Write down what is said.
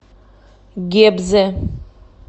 гебзе